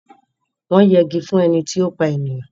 Wọ́n jegi fún ẹni tí ó pa èèyàn.